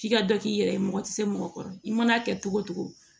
K'i ka dɔ k'i yɛrɛ ye mɔgɔ tɛ se mɔgɔ kɔrɔ i man'a kɛ cogo o cogo